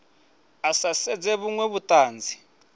a sa siedze vhuṅwe vhuṱanzi